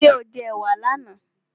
Ṣé o jẹ ẹ̀wà là na?